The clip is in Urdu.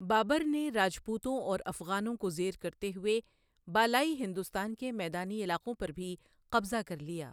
بابر نے راجپوتوں اور افغانوں کو زیر کرتے ہوئے بالائی ہندوستان کے میدانی علاقوں پر بھی قبضہ کرلیا۔